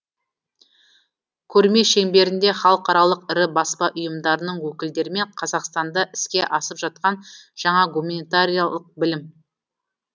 көрме шеңберінде халықаралық ірі баспа ұйымдарының өкілдерімен қазақстанда іске асып жатқан жаңа гуманитариялық білім